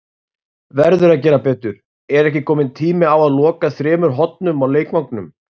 Verður að gera betur: Er ekki kominn tími á að loka þremur hornum á leikvangnum?